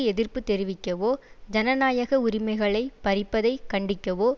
எதிர்ப்பு தெரிவிக்கவோ ஜனநாயக உரிமைகளை பறிப்பதை கண்டிக்கவோ